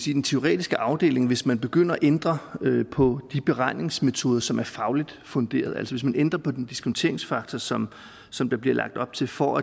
i den teoretiske afdeling hvis man begynder at ændre på de beregningsmetoder som er fagligt funderet hvis man ændrer på den diskonteringsfaktor sådan som der bliver lagt op til for